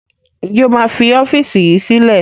Ǹjẹ́ o máa fi ọ́fíìsì yìí sílẹ̀?